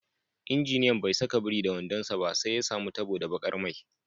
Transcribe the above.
Injiniyan bai saka biri da wando sa ba, sai ya samu tabo da bakar mai.